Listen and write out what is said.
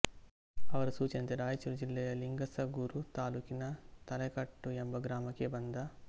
ಅವರ ಸೂಚನೆಯಂತೆ ರಾಯಚೂರು ಜಿಲ್ಲೆಯ ಲಿಂಗಸಗೂರು ತಾಲೂಕಿನ ತಲೆಕಟ್ಟು ಎಂಬ ಗ್ರಾಮಕ್ಕೆ ಬಂದ